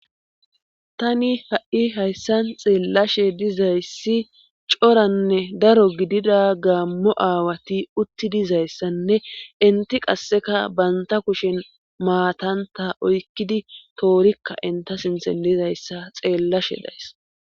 Tani ha'i hayssan xeellashe dizayssi coranne daro gidida gaammo aawati utti dizayssanne inti qasseka banta kushen maatanta oykkidi toorikka inta sinte lizayssa xeellashe days.